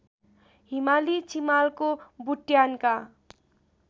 हिमाली चिमालको बुट्यानका